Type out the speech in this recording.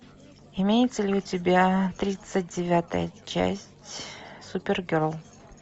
имеется ли у тебя тридцать девятая часть супергерл